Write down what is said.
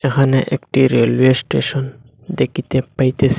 এখানে একটি railway station দেকিতে পাইতেসি।